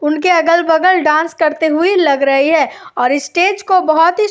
उनके अगल-बगल डांस करते हुए लग रहे हैं और स्टेज को बहौत ही --